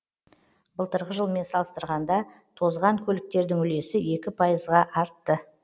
былтырғы жылмен салыстырғанда тозған көліктердің үлесі екі пайызға артты